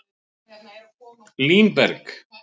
Línberg